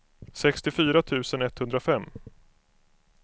sextiofyra tusen etthundrafem